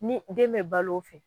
Ni den bɛ bal'o fɛ